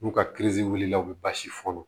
N'u ka wulila u bɛ basi fɔɔnɔ